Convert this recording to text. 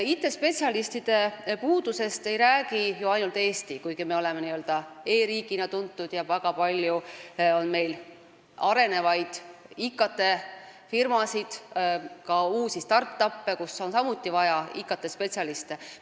IT-spetsialistide puudusest ei räägi ju ainult Eesti, kuigi me oleme n-ö e-riigina tuntud ja meil on väga palju arenevaid IT-firmasid, ka uusi start-up'e, kus on samuti IT-spetsialiste vaja.